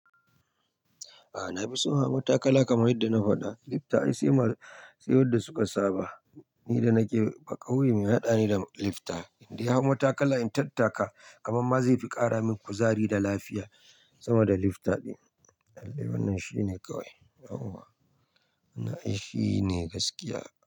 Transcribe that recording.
A'a na fi so in hau matakala kamar yadda na faɗa. Lifta ai sai wanda suka saba. Ni da nake baƙauye mai haɗa ni da lifta, in dai hau matakala in tattaka, kaman ma zai fi ƙara min kuzari da lafiya sama da lifta ɗin. Lallai wannan shine kawai. Yawwa Na'a'i shine gaskiya.